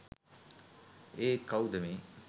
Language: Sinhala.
ඒත් කවුද මේ